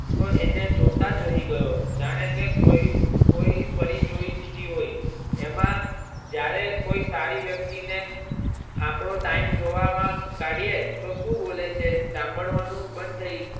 એને જોતા જ રહી ગયો જાણે કે કોઈ કોઈ પરી જોઈ લીધી હોય એમાં જયારે કોઈ સારી વ્યક્તિ ને આપનો time જોવા માં કાઢીયે તો શું બોલે છે સાંભળવાનું બંધ થઇ.